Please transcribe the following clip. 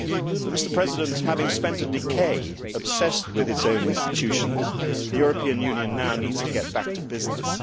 But having spent a decade obsessed with its own institutions, the European Union now needs to get back to business.